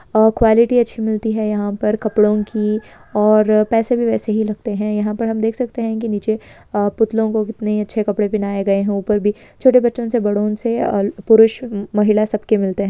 आ quality अच्छी मिलती है यहाँ पर कपड़ों की और पैसे भी वैसे ही लगते हैं यहां पर हम देख सकते हैं कि नीचे आ पुतलों को कितने अच्छे कपड़े पहनाए गए हैं ऊपर भी छोटे बच्चों से बड़ों से और पुरुष म-महिला सबके मिलते हैं।